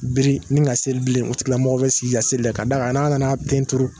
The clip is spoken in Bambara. Biri ni ka seli bilen , o tigilamɔgɔ bɛ sigi ka seli de ka d'a kan n'a nana ten turu